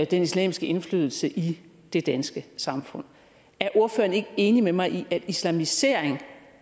den islamiske indflydelse i det danske samfund er ordføreren ikke enig med mig i at islamisering